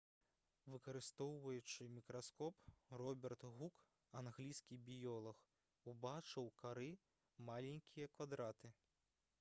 выкарыстоўваючы мікраскоп роберт гук англійскі біёлаг убачыў у кары маленькія квадраты